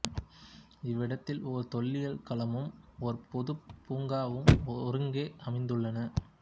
இவ்விடத்தில் ஒரு தொல்லியல் களமும் ஒரு பொதுப் பூங்காவும் ஒருங்கே அமைந்துள்ளன